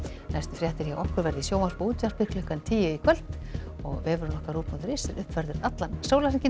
næstu fréttir verða í sjónvarpi og útvarpi klukkan tíu í kvöld og vefurinn ruv punktur is er uppfærður allan sólarhringinn